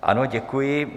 Ano, děkuji.